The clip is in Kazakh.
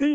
и